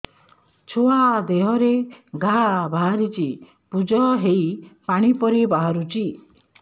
ଛୁଆ ଦେହରେ ଘା ବାହାରିଛି ପୁଜ ହେଇ ପାଣି ପରି ବାହାରୁଚି